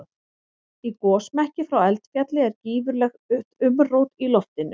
Í gosmekki frá eldfjalli er gífurlegt umrót í loftinu.